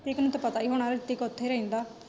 ਰਿਤਿਕ ਨੂੰ ਤੇ ਪਤਾ ਹੀ ਹੋਣਾ ਰਿਤਿਕ ਉੱਥੇ ਰਹਿੰਦਾ।